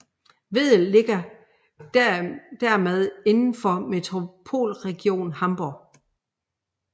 Wedel ligger dermed inden for Metropolregion Hamburg